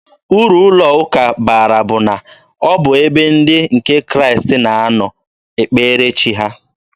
Uru ụlọ ụka bara bụ na, ọ bụ ebe ndị nke Kraịst na-anọ ekpere chi ha.